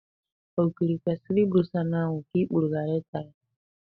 Ogiri kwesịrị ibusa n'anwụ ka ikpuru ghara ịta ya.